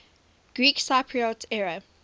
greek cypriot area